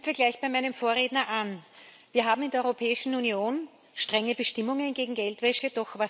Ich knüpfe gleich bei meinem Vorredner an. Wir haben in der Europäischen Union strenge Bestimmungen gegen Geldwäsche.